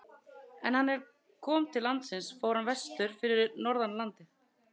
En er hann kom til landsins fór hann vestur fyrir norðan landið.